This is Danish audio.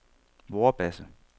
Vorbasse